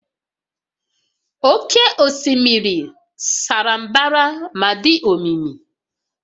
Oké osimiri sara mbara ma dị omimi